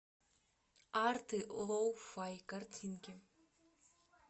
арты лоу фай картинки